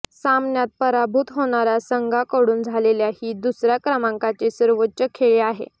सामन्यात पराभूत होणाऱ्या संघाकडून झालेल्या ही दुसऱ्या क्रमांकाची सर्वोच्च खेळी आहे